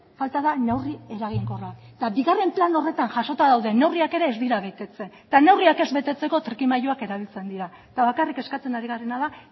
falta da neurri eraginkorra eta bigarren plan horretan jasota dauden neurriak ere ez dira betetzen eta neurriak ez betetzeko trikimailuak erabiltzen dira eta bakarrik eskatzen ari garena da